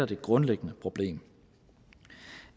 det grundlæggende problem